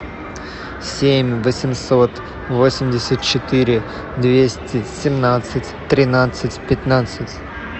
семь восемьсот восемьдесят четыре двести семнадцать тринадцать пятнадцать